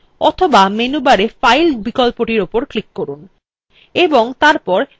অথবা menu bar file বিকল্পটির উপর ক্লিক করুন